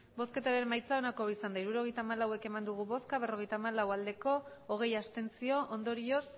emandako botoak hirurogeita hamalau bai berrogeita hamalau abstentzioak hogei ondorioz